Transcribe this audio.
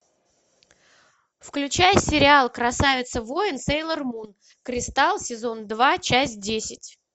включай сериал красавица воин сейлор мун кристалл сезон два часть десять